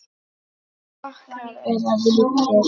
Flokkar eða víddir